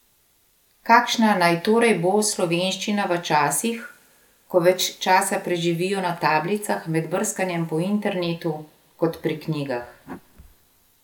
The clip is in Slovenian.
Kakšna naj torej bo slovenščina v časih, ko več časa preživijo na tablicah med brskanjem po internetu kot pri knjigah?